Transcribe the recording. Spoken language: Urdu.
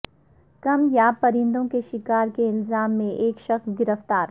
کم یاب پرندوں کے شکار کے الزام میں ایک شخص گرفتار